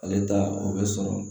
Ale ta o bɛ sɔrɔ